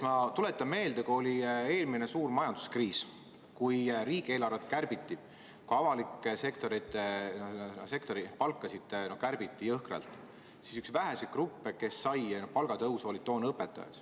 Ma tuletan meelde, et kui oli eelmine suur majanduskriis ja riigieelarvet kärbiti – ka avaliku sektori palkasid kärbiti jõhkralt –, siis üks väheseid gruppe, kes sai palgatõusu, olid toona õpetajad.